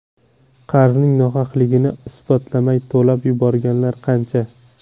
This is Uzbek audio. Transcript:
Qarzning nohaqligini isbotlamay to‘lab yuborganlar qancha?